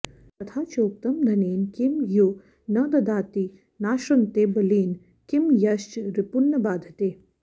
तथा चोक्तम् धनेन किं यो न ददाति नाश्नुते बलेन किं यश्च रिपून्न बाधते